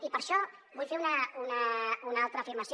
i per això vull fer una altra afirmació